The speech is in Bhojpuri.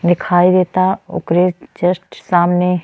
दिखाई दे ता आकरी जस्ट सामने --